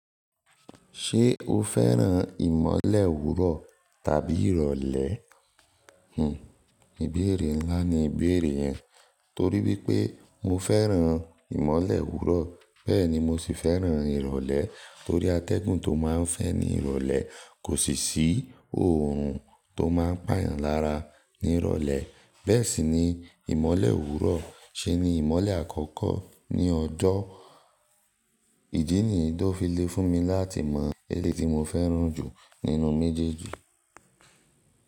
Ṣé o fẹ́ràn ìmọ̀le owúrọ̀ tàbí ìrọ̀lẹ́? Hmm, ìbéèrè ńlá ni ìbéèrè yẹn torí wípé mo fẹ́ràn ìmọ̀le owúrọ̀, bẹ́ẹ̀ ni mo sì fẹ́ràn ìrọ̀lẹ́ torí atẹ́gùn tó máa ń fẹ́ ní ìrọ̀lẹ́ kò sì sí òórùn tó máa ń pà yàn lára ní ìrọ̀lẹ́. Bẹ́ẹ̀ sì ní. Ìmọ̀le òwúrò ṣe ni ìmọ̀le àkọ́kọ́ ní ọjọ́. Ìdí nìyí tó fi le fún mi láti mọ èyí tí mo fẹ́ràn jù.nínú méjèèjì.